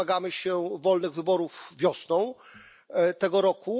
i wolnych wyborów wiosną tego roku.